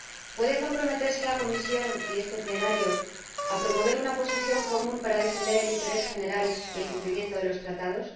¿Pueden comprometerse la Comisión y este Pleno a promover una posición común para defender el interés general y el cumplimiento de los Tratados?